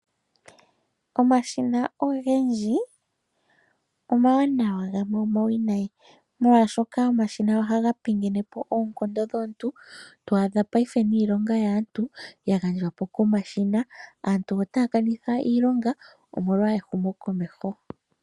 Omashina ogendji omawanawa gamwe omawinayi. Molwaashoka omashina ohaga pingene po oonkondo dhomuntu to adha ngaashingeyi niilonga yaantu ya gandjwa po komashina. Aantu otaya kanitha iilonga omolwa ehumo komeho.